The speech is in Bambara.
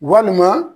Walima